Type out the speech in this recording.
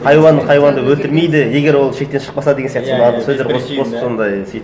хайуан хайуанды өлтірмейді егер ол шектен шықпаса деген сияқты сондай сөздер қосып қосып сондай сөйтіп